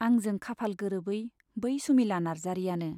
आंजों खाफाल गोरोबै बै सुमिला नार्जारीयानो।